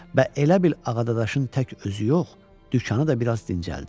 Və elə bil Ağadadaşın tək özü yox, dükanı da biraz dincəldi.